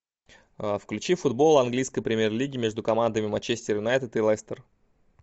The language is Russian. включи футбол английской премьер лиги между командами манчестер юнайтед и лестер